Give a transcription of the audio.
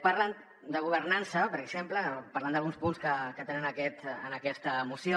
parlen de governança per exemple parlant d’alguns punts que tenen en aquesta moció